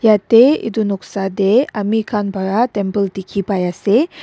yatey itu noksa tey amikhan para temple dikhi pai ase--